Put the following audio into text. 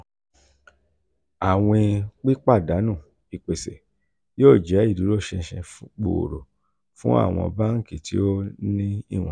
awin-pipadanu ipese yoo jẹ iduroṣinṣin gbooro fun awọn banki ti o ni iwọn. iwọn.